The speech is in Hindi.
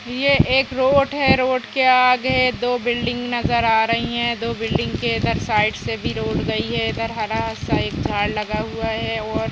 यह एक रोड है रोड के आगे दो बिल्डिंग नजर आ रही हैं दो बिल्डिंग के साइड से भी रोड गयी है इधर हरा सा एक झाड़ लगा हुआ है और --